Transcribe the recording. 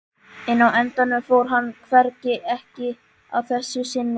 En á endanum fór hann hvergi, ekki að þessu sinni.